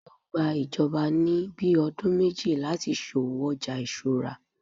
yíò gbà ìjọba ni bí ọdún méjì lati so'wo ọja isura